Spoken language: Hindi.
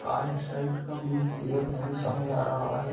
साइड का व्यू क्लियर नहीं समझ आ रहा है।